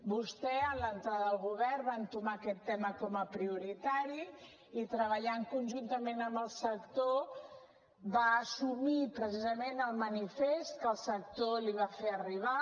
vostè en l’entrada al govern va entomar aquest tema com a prioritari i treballant conjuntament amb el sector va assumir precisament el manifest que el sector li va fer arribar